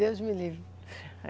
Deus me livre.